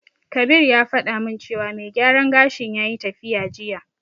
Kabir ya faɗa min cewa mai gyaran gashin yayi tafiya jiya.